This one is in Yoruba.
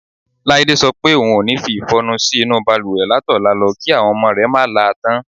Láídé so̩ pé ohun o ní fi ìfo̩nu sí inú balùwè látò̩la lo̩ kí àwo̩n o̩mo̩ rè̩ má la tán.